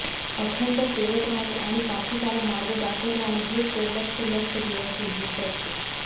अखंड तेवत राहणे आणि पथिकाला मार्ग दाखवत राहणे हेच या लक्ष लक्ष दिव्यांचे उद्दिष्ट असते